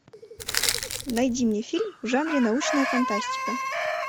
найди мне фильм в жанре научная фантастика